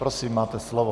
Prosím, máte slovo.